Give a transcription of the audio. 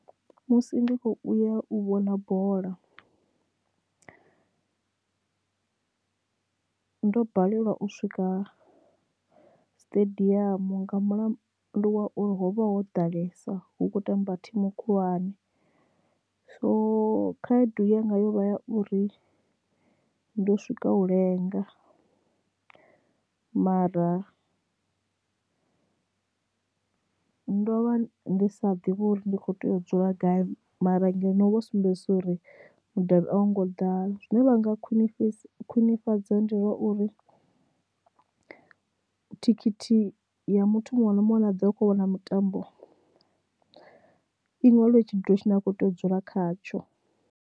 Musi ndi kho uya u vhona bola ndo balelwa u swika siṱediamu nga mulandu wa uri hovha ho ḓalesa hu kho tamba thimu khulwane so khaedu yanga yo vha ya uri ndo swika u lenga mara ndo vha ndi sa ḓivhi uri ndi kho tea u dzula gai mara ngeno vho sumbedzisa uri mudavhi au ngo ḓAla zwine vha nga khwinifhadzo khwinifhadza ndi zwauri thikhithi ya muthu muṅwe na muṅwe a ne a ḓo vha u kho vhona mutambo iṅwaliwe tshidulo tshine a kho tea u dzula khatsho.